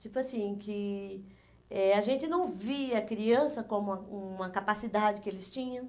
Tipo assim, que eh a gente não via a criança como uma uma capacidade que eles tinham.